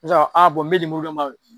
Sisan, a bɔn n bɛ lemuru d'i ma